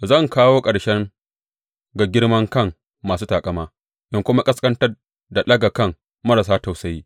Zan kawo ƙarshe ga girman kan masu taƙama in kuma ƙasƙantar da ɗaga kan marasa tausayi.